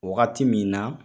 Wagati min na,